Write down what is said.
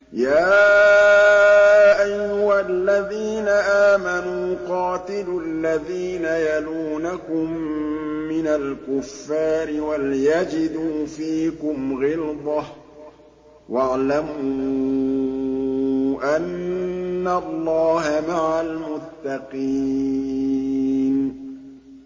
يَا أَيُّهَا الَّذِينَ آمَنُوا قَاتِلُوا الَّذِينَ يَلُونَكُم مِّنَ الْكُفَّارِ وَلْيَجِدُوا فِيكُمْ غِلْظَةً ۚ وَاعْلَمُوا أَنَّ اللَّهَ مَعَ الْمُتَّقِينَ